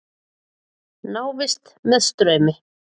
Návist með straumi.